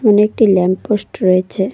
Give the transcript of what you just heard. ওখানে একটি lamp post রয়েছে।